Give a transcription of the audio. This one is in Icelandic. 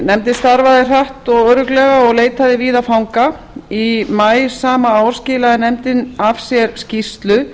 nefndin starfaði hratt og örugglega og leitaði víða fanga í maí sama ár skilaði nefndin af sér skýrslu